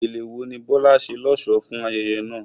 Gele wo ni Bola ṣe lọ́ṣọ̀ọ́ fún ayẹyẹ náà?